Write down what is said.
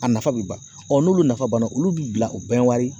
A nafa bɛ ban n'olu nafa banna olu b'i bila o bɛɛ wari